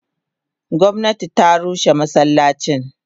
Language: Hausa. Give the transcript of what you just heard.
Gomnati ta rushe masallacin.